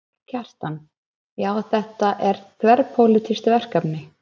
Kjartan: Já, þetta er þverpólitískt verkefni?